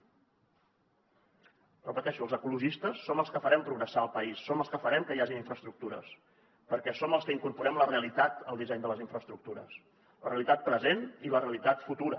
ho repeteixo els ecologistes som els que farem progressar el país som els que farem que hi hagin infraestructures perquè som els que incorporem la realitat al disseny de les infraestructures la realitat present i la realitat futura